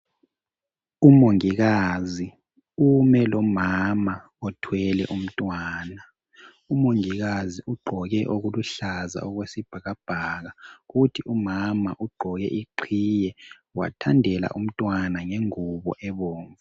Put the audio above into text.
u mongikazi ume lomama othwele umntwana umongikazi ugqoke okuluhlaza okwesibhakabhaka kuthi umama ugqoke iqhiye wathandela umntwana ngengubo ebomv